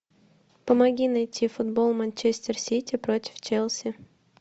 помоги найти футбол манчестер сити против челси